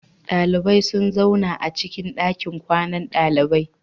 Dalibai sun zauna acikin dakin kwanan dalibai.